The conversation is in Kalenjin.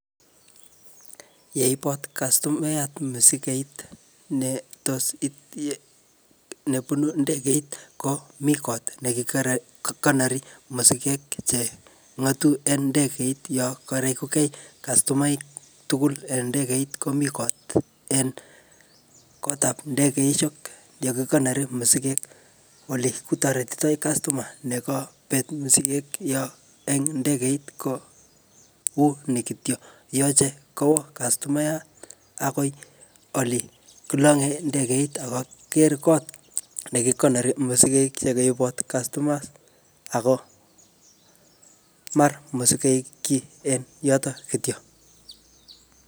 Yeibot kastomaiyat musikeit netos um nebunu ndegeit, komii kot neki um konori musiket che ngotu eng ndegeit yoko rekukey kastomaik tugul eng ndegeit, komii kot en kotab ndegeishek yekikonori musiket ole kitorotitoi customer nekebet musiket yo eng ndegeit kouni kityo. Yoche kowo kastomaiyat akoi ole kilange ndegeit akoker kot nekikonori musiket chekoibot customers, ako mar musiket kiy eng yotok kityo.